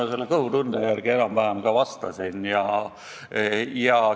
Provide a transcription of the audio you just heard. Ma selle kõhutunde järgi enam-vähem ka vastasin.